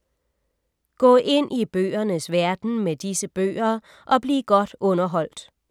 Gå ind i bøgernes verden med disse bøger og bliv godt underholdt.